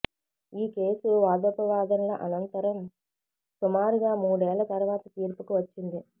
ఈ కేసు వాదోపవాదనల అనంతరం సుమారుగా మూడేళ్ల తరువాత తీర్పుకు వచ్చింది